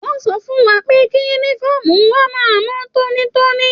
Wọn sọ fún wà pẹ kí yúnífọ̀ọ́mù wà máa mọ tónítóní.